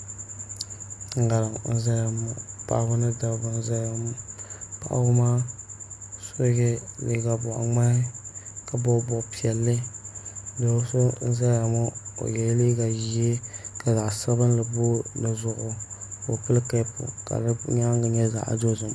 ŋarim n ʒɛya ŋɔ paɣaba ni dabba n ʒɛya ŋɔ paɣaba maa so yɛ liiga boɣa ŋmahi ka bob bob piɛlli do so n ʒɛya ŋɔ o yɛla liiga ʒiɛ ka zaɣ sabinli booi dizuɣu ka o pili keep ka di nyaangi nyɛ zaŋ dozim